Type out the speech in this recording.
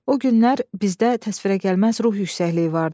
O günlər bizdə təsvirəgəlməz ruh yüksəkliyi vardı.